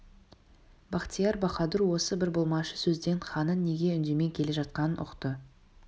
бахтияр баһадур осы бір болмашы сөзден ханның неге үндемей келе жатқанын ұқты